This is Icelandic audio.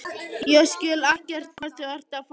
Ég skil ekkert hvað þú ert að fara.